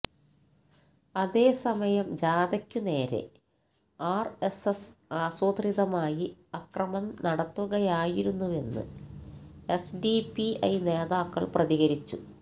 അതേസമയം ജാഥയ്ക്ക് നേരെ ആര്എസ്എസ് ആസൂത്രിതമായി അക്രമം നടത്തുകയായിരുന്നുവെന്ന് എസ്ഡിപിഐ നേതാക്കൾ പ്രതികരിച്ചു